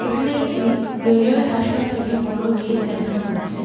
এখানে একটি রেলওয়ে হাসপাতালে বড় গেট দেখানো হচ্ছে।